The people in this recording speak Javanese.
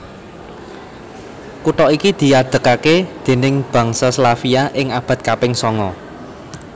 Kutha iki diadegaké déning bangsa Slavia ing abad kaping sanga